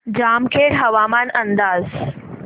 जामखेड हवामान अंदाज